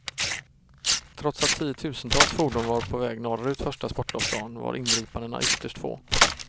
Trots att tiotusentals fordon var på väg norrut första sportlovsdagen var ingripandena ytterst få.